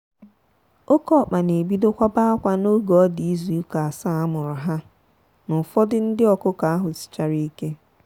oke ọkpa na ebido kwaba akwa n'oge ọdi ịzụ ụka asaa amuru ha na ụfọdụ ndị ọkụkọ ahụ sichárá ike.